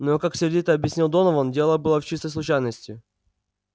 но как сердито объяснял донован дело было в чистой случайности